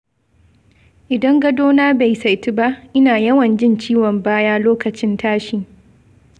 Idan gadona bai saitu ba, ina yawan jin ciwon baya lokacin tashi.